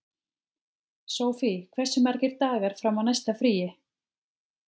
Sofie, hversu margir dagar fram að næsta fríi?